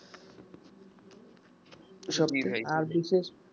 আর কিন্তু জ্বি ভাই